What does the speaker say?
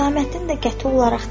Saməddin də qəti olaraq dedi: